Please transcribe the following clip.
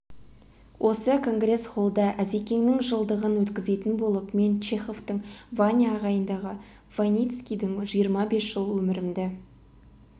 осы конгрес-холлда әзекеңнің жылдығын өткізетін болып мен чеховтың ваня ағайындағы войницкийдің жиырма бес жыл өмірімді